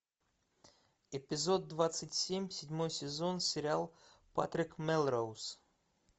эпизод двадцать семь седьмой сезон сериал патрик мелроуз